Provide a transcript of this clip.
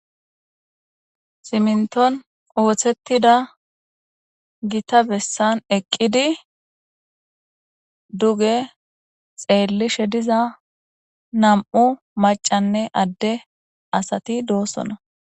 Siminitoni ossetidda gitta bessani eqiddi dugge xelishe diza nam'u maccanne ade assati dissona.